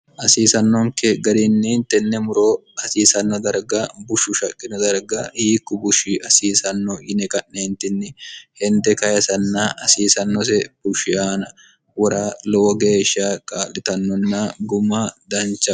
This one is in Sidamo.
hasiisannonke gariinni tenne muro hasiisanno darga bushu shaqqino darga hiikku bushi hasiisanno yine ka'neentinni hende kahisanna hasiisannose bushi aana wora lowo geeshsha kaa'litannonna guma dancha